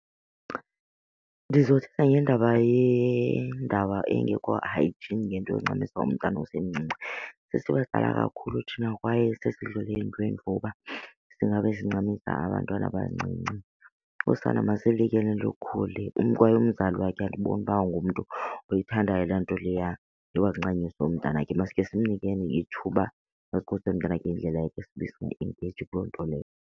Ndizothetha ngendaba yendaba engekho hygiene ngento yoncamisa umntana osemncinci. Sesibadala kakhulu thina kwaye sesidlule eentweni for uba singabe sincamisa abantwana abancinci, usana masiluyekeni lukhule. Kwaye umzali wakhe andiboni uba ungumntu oyithandayo laa nto leya yoba kuncanyiswe umntanakhe. Masikhe simnikeni ithuba azikhulisele umntanakhe ngendlela yakhe sibe siba engaged kuloo nto leyo.